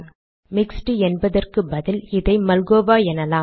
mixed என்பதற்கு பதில் இதை மல்கோவா எனலாம்